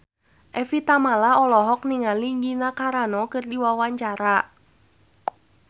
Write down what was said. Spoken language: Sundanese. Evie Tamala olohok ningali Gina Carano keur diwawancara